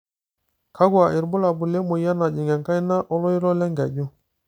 kakua irbulabol le moyian najing enkaina oloito le nkeju,